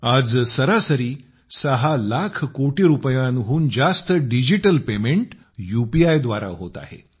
आज सरासरी सहा लाख कोटी रुपयांहून जास्त डिजिटल पेमेंट यूपीआय द्वारा होते आहे